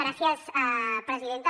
gràcies presidenta